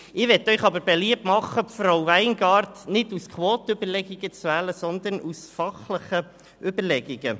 Ich möchte jedoch beliebt machen, Frau Weingart nicht aus Quotenüberlegungen zu wählen, sondern aus fachlichen Überlegungen.